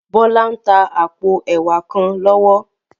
Bola n tá àpó èwá kán lòwò